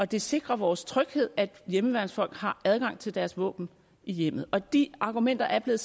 det sikrer vores tryghed at hjemmeværnsfolk har adgang til deres våben i hjemmet og de argumenter er blevet